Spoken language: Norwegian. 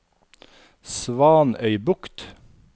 Svanøybukt